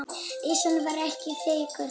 Ísinn var ekki þykkur.